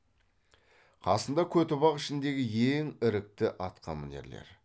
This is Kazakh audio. қасында көтібақ ішіндегі ең ірікті атқамінерлер